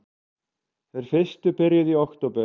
Þeir fyrstu byrjuðu í október